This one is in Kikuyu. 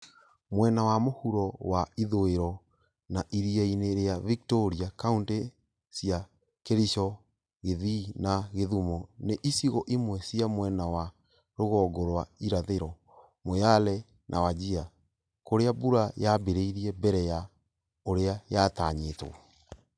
Mwena wa mũhuro wa ithũĩro na iria-inĩ rĩa Victoria (Kauntĩ cia Kericho, Kisii na Kisumu) na icigo imwe cia mwena wa rũgongo rwa ĩrathĩro (Moyale na Wajir) kũrĩa mbura yaambĩrĩirie mbere ya ũrĩa yatanyĩtwo.